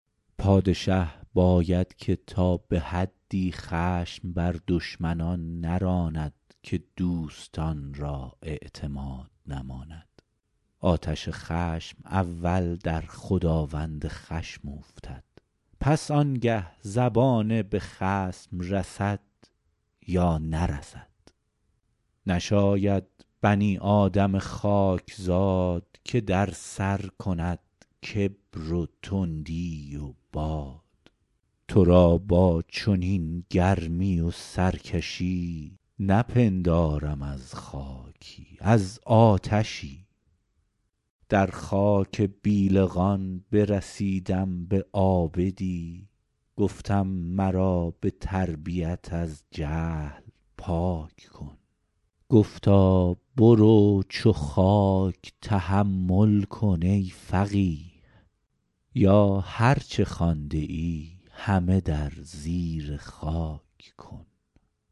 پادشه باید که تا به حدی خشم بر دشمنان نراند که دوستان را اعتماد نماند آتش خشم اول در خداوند خشم اوفتد پس آنگه زبانه به خصم رسد یا نرسد نشاید بنی آدم خاکزاد که در سر کند کبر و تندی و باد تو را با چنین گرمی و سرکشی نپندارم از خاکی از آتشی در خاک بیلقان برسیدم به عابدی گفتم مرا به تربیت از جهل پاک کن گفتا برو چو خاک تحمل کن ای فقیه یا هر چه خوانده ای همه در زیر خاک کن